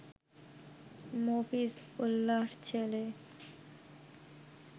মফিজ উল্লাহর ছেলে